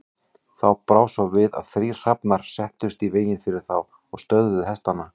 Þá brá svo við að þrír hrafnar settust í veginn fyrir þá og stöðvuðu hestana.